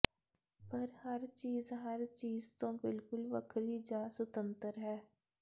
ਪਰ ਹਰ ਚੀਜ ਹਰ ਚੀਜ ਤੋਂ ਬਿਲਕੁਲ ਵੱਖਰੀ ਜਾਂ ਸੁਤੰਤਰ ਹੈ